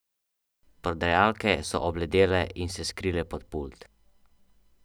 Prodajalke so obledele in se skrile pod pult.